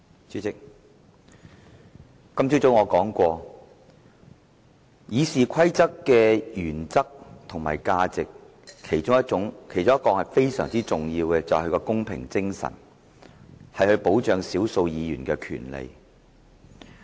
主席，我今早說過《議事規則》的原則和價值，其中非常重要的是其公平精神，以保障少數議員的權利。